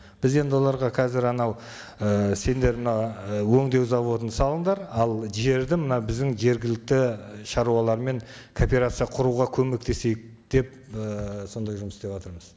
біз енді оларға қазір анау ііі сендер мынау ы өңдеу зауытын салындар ал жерді мына біздің жергілікті і шаруалармен кооперация құруға көмектесейік деп і сондай жұмыс істеватырмыз